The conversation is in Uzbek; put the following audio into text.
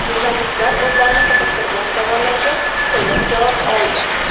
Jurnalistlar o‘zlarini qiziqtirgan savollarga to‘liq javoblar oldi.